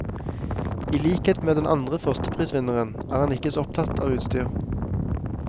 I likhet med den andre førsteprisvinneren er han ikke så opptatt av utstyr.